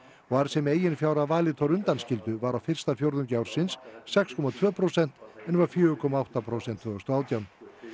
og arðsemi eigin fjár að Valitor undanskildu var á fyrsta fjórðungi ársins sex komma tvö prósent en var fjögurra komma átta prósent tvö þúsund og átján